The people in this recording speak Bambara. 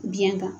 Biɲɛ kan